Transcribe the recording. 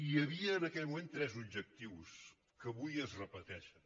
hi havia en aquell moment tres objectius que avui es repeteixen